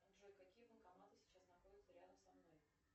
джой какие банкоматы сейчас находятся рядом со мной